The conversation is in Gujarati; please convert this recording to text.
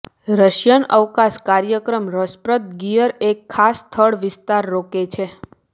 રશિયન અવકાશ કાર્યક્રમ રસપ્રદ ગિયર એક ખાસ સ્થળ વિસ્તાર રોકે છે